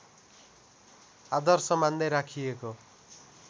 आदर्श मान्दै राखिएको